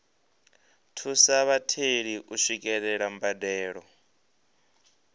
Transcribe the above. thusa vhatheli u swikelela mbadelo